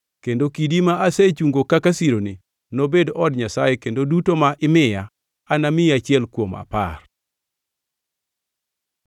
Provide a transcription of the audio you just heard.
kendo kidi ma asechungo kaka sironi, nobed od Nyasaye kendo duto ma imiya, namiyi achiel kuom apar.”